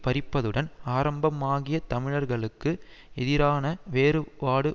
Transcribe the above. பறிப்பதுடன் ஆரம்பமாகிய தமிழர்களுக்கு எதிரான வேறுபாடு